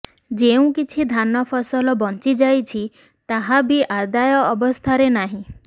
ଯେଉଁ କିଛି ଧାନ ଫସଲ ବଞ୍ଚି ଯାଇଛି ତାହା ବି ଆଦାୟ ଅବସ୍ଥାରେ ନାହିଁ